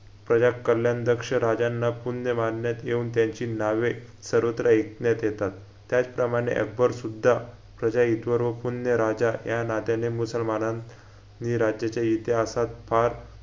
प्रजा कल्याण दक्ष राजांना पुण्य मानण्यात येऊन त्यांची नावे सर्वत्र ऐकण्यात येतात त्याचप्रमाणे अकबर सुद्धा प्रजाहितवर व पुण्य राजा या नात्याने मुसलमानां नी राज्याच्या इतिहासात फार